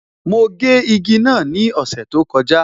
Mo gé igi náà ni ọ̀sẹ̀ tó kọjá